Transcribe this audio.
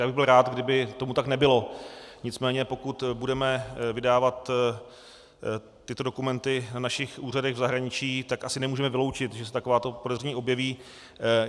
Já bych byl rád, kdyby tomu tak nebylo, nicméně pokud budeme vydávat tyto dokumenty na našich úřadech v zahraničí, tak asi nemůžeme vyloučit, že se takováto podezření objeví.